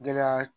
Gɛlɛya